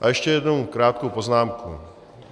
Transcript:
A ještě jednu krátkou poznámku.